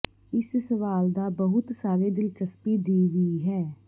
ਇਸ ਸਵਾਲ ਦਾ ਬਹੁਤ ਸਾਰੇ ਦਿਲਚਸਪੀ ਦੀ ਵੀ ਹੈ